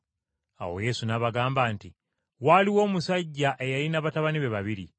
Awo Yesu n’abagamba nti, “Waaliwo omusajja eyalina batabani be babiri.